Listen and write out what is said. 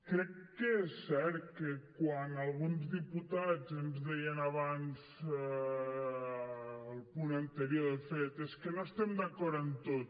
crec que és cert que quan alguns diputats ens deien abans al punt anterior de fet és que no estem d’acord en tot